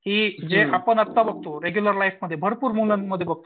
की जे आता आपण बघतो रेग्युलर लाईफमध्ये भरपूर मुलांना बघतो.